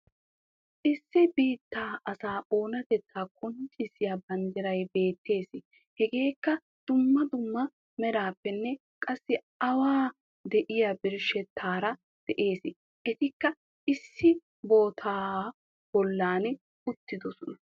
Issi biittaa asaa oonatteta qonccissiya banddiray beettees. Hegeekka dummaa dummaa meraappenne qassi awu de'iya birshshetaraa de'es. Etikka issi bottabaa bollan uttidosona